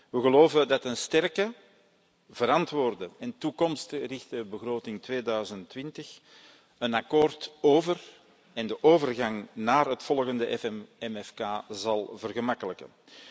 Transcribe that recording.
We geloven dat een sterke, verantwoorde en toekomstgerichte begroting 2020 een akkoord over en de overgang naar het volgende MFK zal vergemakkelijken.